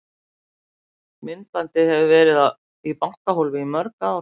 Myndbandið hefur verið í bankahólfi í mörg ár.